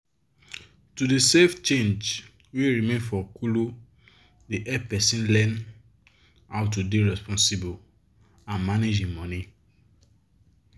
to dey save change wey remain for kolo dey help person learn how to dey responsible and manage im money.